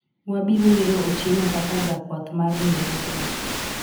wabiro yiero Otieno kaka jakwath mar riwruogni